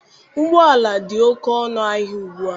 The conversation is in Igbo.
Ụgbọala dị oke ọnụ ahịa ugbua.